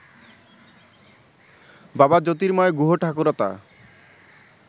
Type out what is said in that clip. বাবা জ্যোর্তিময় গুহঠাকুরতা